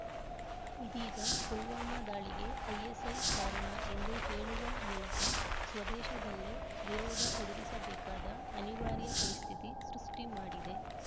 ಇದೀಗ ಪುಲ್ವಾಮಾ ದಾಳಿಗೆ ಐಎಸ್‌ಐ ಕಾರಣ ಎಂದು ಹೇಳುವ ಮೂಲಕ ಸ್ವದೇಶದಲ್ಲೇ ವಿರೋಧ ಎದುರಿಸಬೇಕಾದ ಅನಿವಾರ್ಯ ಪರಿಸ್ಥಿತಿ ಸೃಷ್ಠಿ ಮಾಡಿದೆ